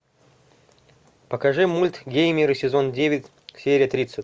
покажи мульт геймеры сезон девять серия тридцать